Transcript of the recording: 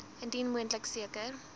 indien moontlik seker